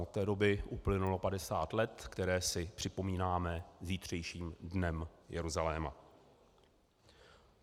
Od té doby uplynulo 50 let, která si připomínáme zítřejším Dnem Jeruzaléma.